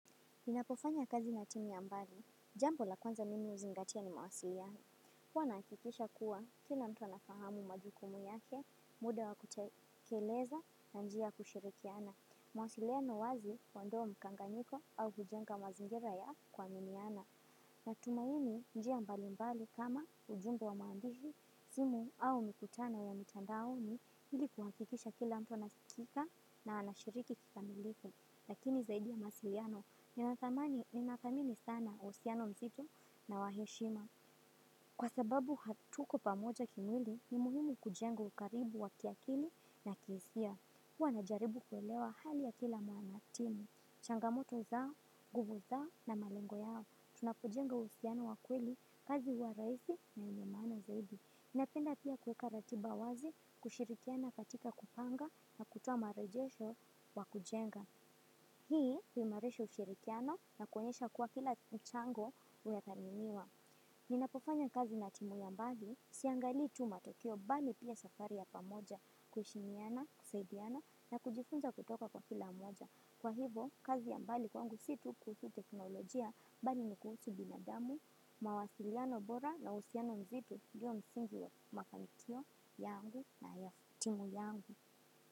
Ninapofanya kazi na timu ya mbali, jambo la kwanza mimi huzingatia ni mawasiliano. Huwa nahakikisha kuwa, kila mtu anafahamu majukumu yake, muda wa kutekeleza na njia ya kushirikiana. Mawasiliano wazi, huondoa mkanganyiko au hujenga mazingira ya kuaminiana. Na tumaini njia mbali mbali kama ujuumbe wa maandishi, simu au mikutano ya mitandao ni hili kuhakikisha kila mtu anasikika na anashiriki kikamilifu lakini zaidi ya mawasiliano, nathamini sana uhusiano mzito na wa heshima. Kwa sababu hatuko pamoja kimwili ni muhimu kujenga ukaribu wa kiakili na kihisia. Huwa na jaribu kuelewa hali ya kila mwanatimu changamoto zao, nguvu zao na malengo yao. Tunapo jenga uhusiano wa kweli, kazi huwa rahisi na yenye maana zaidi. Inapenda pia kuweka ratiba wazi, kushirikiana katika kupanga na kutoa marejesho wa kujenga. Hii huimarisha ushirikiano na kuonyesha kuwa kila mchango unathaminiwa. Ninapofanya kazi na timu ya mbali siangali tu matokeo bali pia safari ya pamoja kuheshimiana, kusaidiana na kujifunza kutoka kwa kila mmoja. Kwa hivo kazi ya mbali kwangu si tu kuhusu teknolojia bali ni kuhusu binadamu, mawasiliano bora na uhusiano mzito ndio msingi wa mafanikio yangu na ya timu yangu.